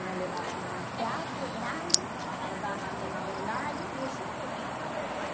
E nos levavam em um teatro grande, nos davam uma homenagem e eu sempre ganhava prêmio.